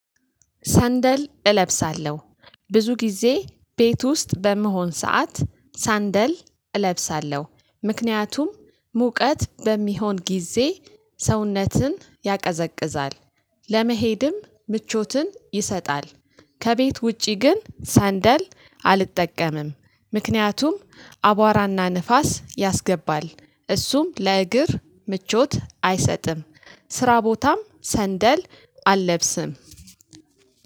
ሳንደል እለብሳለሁ ብዙ ጊዜ ቤት ውስጥ በምሆን ሰዓት ሳንደል እለብሳለሁ ምክንያቱም ሙቀት በሚሆን ጊዜ ሰውነትን ያቀዘቅዛል ለመሄድም ምቾትን ይሰጣል። ከቤት ውጪ ግን ሳንደል አልጠቀምም ምክንያቱም አቧራና ንፋስ ያስገባል እሱም ለእግር ምቾት አይሰጥም። ስራ ቦታም ሰንደል አለብስም።